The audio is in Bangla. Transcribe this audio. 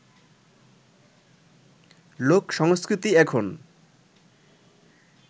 লোক সংস্কৃতি এখন